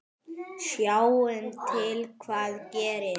Sjáum til hvað gerist.